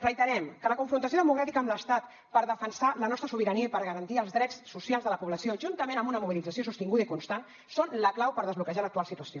reiterem que la confrontació democràtica amb l’estat per defensar la nostra sobirania i per garantir els drets socials de la població juntament amb una mobilització sostinguda i constant són la clau per desbloquejar l’actual situació